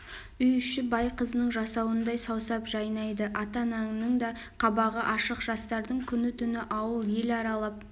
үй іші бай қызының жасауындай саусап жайнайды ата-ананың да қабағы ашық жастардың күні-түн ауыл ел аралап